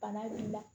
Bana b'i la